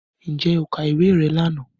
Ǹjẹ́ o ka ìwé rẹ lánàá